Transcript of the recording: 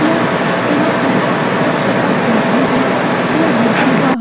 यह यहाँ पर एक चपाकल भी है ये घर के बाहर --